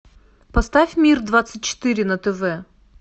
поставь мир двадцать четыре на тв